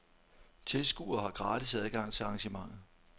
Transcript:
Tilskuere har gratis adgang til arrangementet.